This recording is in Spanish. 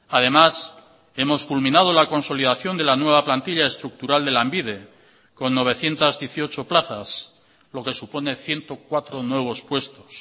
además hemos culminado la consolidación de la nueva plantilla estructural de lanbide con novecientos dieciocho plazas lo que supone ciento cuatro nuevos puestos